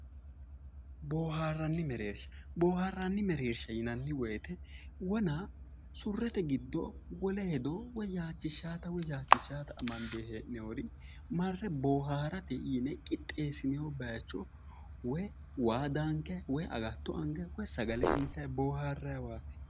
Booharanni mereersha booharani mereersha yinnanni woyte wona surete giddo wole hedo woyi yachishanotta woyi hagiirsiisanotta amandonire agurate yinne booharate qixxesinoni bayicho woyi waa daanikkani woyi agatto anganni sagale intanni booharaniwati.